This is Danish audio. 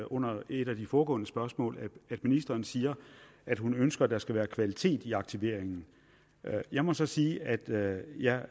under et af de foregående spørgsmål at ministeren siger at hun ønsker at der skal være kvalitet i aktiveringen jeg må så sige at jeg